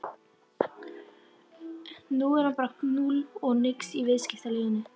Nú er hann bara núll og nix í viðskiptalífinu!